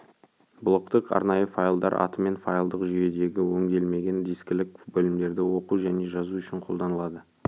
блоктық арнайы файлдар атымен файлдық жүйеде өңделмеген дискілік бөлімдерді оқу және жазу ушін қолданылады